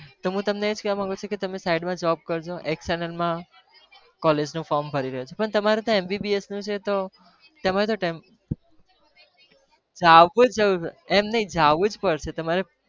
તો હું તમને એ જ કહેવા માંગું છુ કે તમે side માં job કરજો માં college નું form ભરી દેજો પણ તમારે ત્યાં MBBS નું છે તો તમારે ત્યાં એમ નહિ જવું પડશે તમારે.